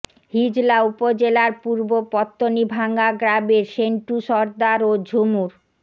হিজলা উপজেলার পূর্ব পত্তণীভাঙ্গা গ্রামের সেন্টু সরদার ও ঝুমুর